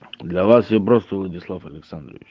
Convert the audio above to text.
для вас я просто владислав александрович